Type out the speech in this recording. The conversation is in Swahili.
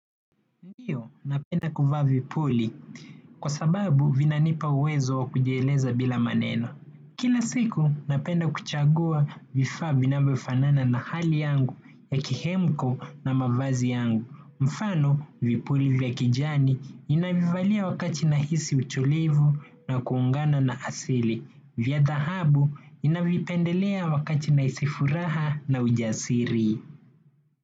Ndiyo, napenda kuvaa vipuli. Kwa sababu, vinanipa uwezo wa kujieleza bila maneno. Kila siku, napenda kuchagua vifaa vinavyofanana na hali yangu ya kihemko na mavazi yangu. Mfano, vipuli vya kijani ninavivalia wakati nahisi utulivu na kuungana na asili. Vya dhahabu, ninavipendelea wakati nahisi furaha na ujasiri.